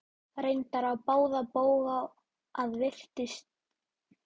Reyndar á báða bóga að því er virtist.